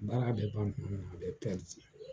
Baara be ban kuma min na , a bɛ